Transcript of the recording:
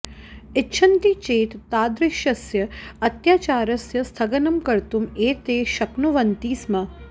इच्छन्ति चेत् तादृशस्य अत्याचारस्य स्थगनं कर्तुम् एते शक्नुवन्ति स्म